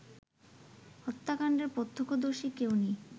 হত্যাকাণ্ডের প্রত্যক্ষদর্শী কেউ নেই